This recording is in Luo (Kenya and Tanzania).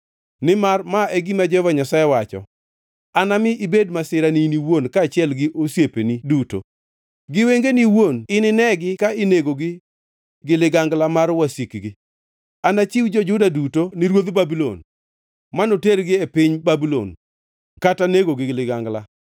Nimar ma e gima Jehova Nyasaye wacho: ‘Anami ibed masira ni in iwuon kaachiel gi osiepeni duto; gi wengeni iwuon ininegi ka inegogi gi ligangla mar wasikgi. Anachiw jo-Juda duto ni ruodh Babulon, manotergi e piny Babulon kata negogi gi ligangla.